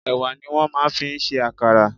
Ẹ̀wà ni wọ́n máa ń fi ń ṣe àkàrà.